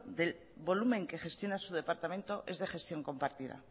del volumen que gestiona su departamento es de gestión compartida